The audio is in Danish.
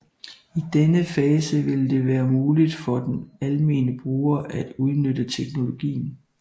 I denne fase vil det være muligt for den almene bruger at udnytte teknologien